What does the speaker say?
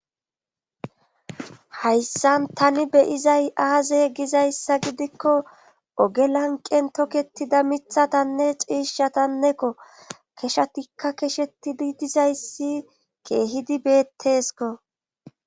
Hayssan tani beyizay aazey gizayssa gidikko ogelanqen toketida mithatanne ciishatannekko keshatikka keshetidi dizayssi keehidi beettesko